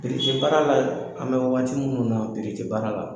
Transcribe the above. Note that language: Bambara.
tɛ baara la an bɛ waati minnu na baara la.